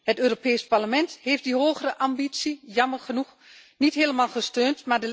Het Europees Parlement heeft die hogere ambitie jammer genoeg niet helemaal gesteund.